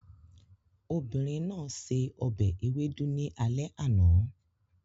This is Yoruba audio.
Obìnrin náà se ọbẹ̀ ewedu ní alẹ́ àná